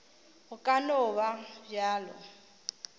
go ka no ba bjalo